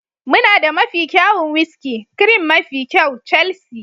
muna da mafi kyawun whiskey, cream mafi kyau, Chelsea,